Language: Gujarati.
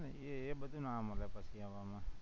એ બધું ના મળે પછી